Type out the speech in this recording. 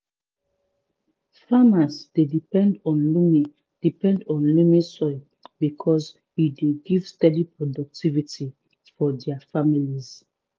farmers dey depend on loamy depend on loamy soil because e dey give steady productivity for dia families.